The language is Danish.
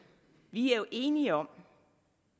vi er enige om